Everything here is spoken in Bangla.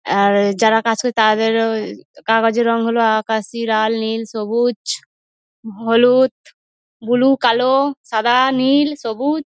আর যারা কাজ করে তাদেরও কাগজের রং হল আকাশী লাল নীল সবুজ হলুদ বুলু কালো সাদা নীল সবুজ।